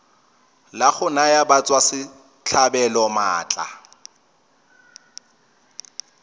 la go naya batswasetlhabelo maatla